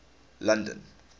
london